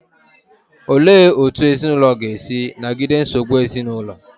Olee otú ezinụlọ ga-esi nagide nsogbu ezinụlọ?